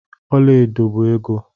Ọla edo bụ ego.